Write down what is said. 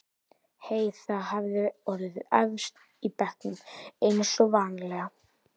Heiða hafði orðið efst í bekknum eins og vanalega.